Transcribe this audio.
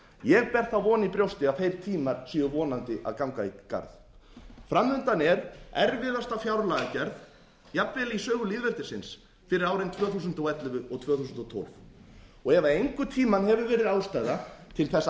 ég ber von í brjóti að þeir tímar séu vonandi að ganga í garð framundan er erfiðasta fjárlagagerð jafnvel í sögu lýðveldisins fyrir árin tvö þúsund og ellefu og tvö þúsund og tólf ef einhvern tímann hefur verið ástæða til þess að